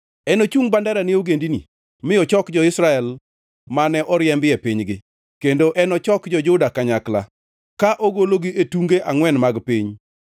Enochung bandera ne ogendini mi ochok jo-Israel mane oriembi e pinygi; kendo enochok jo-Juda kanyakla ka ogologi e tunge angʼwen mag piny.